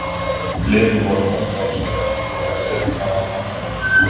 Liðin voru mörg ár síðan ég hafði séð hana á almannafæri.